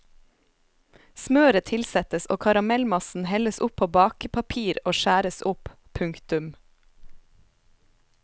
Smøret tilsettes og karamellmassen helles opp på bakepapir og skjæres opp. punktum